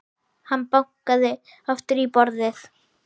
Hann bankaði aftur í borðið.